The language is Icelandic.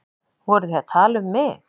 Voruð þið að tala um mig?